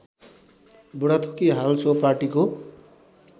बुढाथोकी हाल सो पार्टीको